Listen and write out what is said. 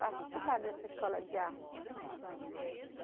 Participar dessa escola de arte.